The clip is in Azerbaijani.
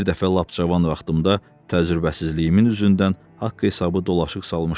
Bir dəfə lap cavan vaxtımda təcrübəsizliyimin üzündən haqq hesabı dolaşıq salmışdım.